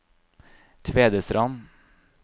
Tvedestrand